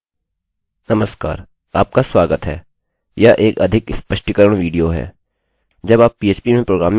नमस्कार आपका स्वागत है यह एक अधिक स्पष्टीकरण विडियो है